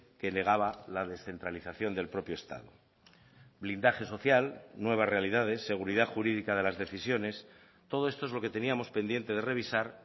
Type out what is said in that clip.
que negaba la descentralización del propio estado blindaje social nuevas realidades seguridad jurídica de las decisiones todo esto es lo que teníamos pendiente de revisar